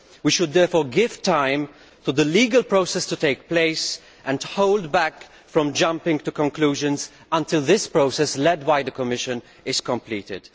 We should therefore give time for the legal process to take place and hold back from jumping to conclusions until this process, led by the Commission, is completed.